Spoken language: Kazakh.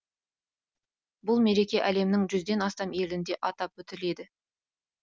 бұл мереке әлемнің жүзден астам елінде атап өтіледі